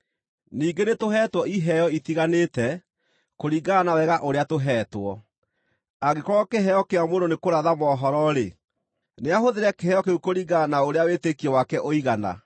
Ningĩ nĩtũheetwo iheo itiganĩte, kũringana na wega ũrĩa tũheetwo. Angĩkorwo kĩheo kĩa mũndũ nĩ kũratha mohoro-rĩ, nĩahũthĩre kĩheo kĩu kũringana na ũrĩa wĩtĩkio wake ũigana.